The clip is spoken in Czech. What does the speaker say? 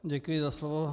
Děkuji za slovo.